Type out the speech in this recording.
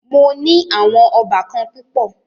Mó ní àwọn óbàkan púpọ̀.